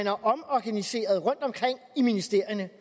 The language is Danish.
har omorganiseret rundtomkring i ministerierne